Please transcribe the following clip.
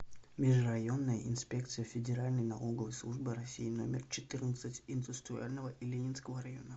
межрайонная инспекция федеральной налоговой службы россии номер четырнадцать индустриального и ленинского района